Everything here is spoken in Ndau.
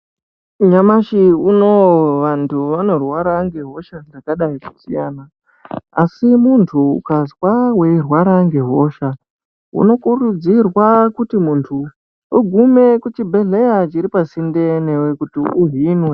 Nyamashi unou vantu vanorwara ngehosha dzakadai kusiyana. Asi muntu ukazwa weirwara ngehosha, unokurudzirwa kuti muntu ugume kuchibhedhleya chiripasinde newe kuti uhinwe.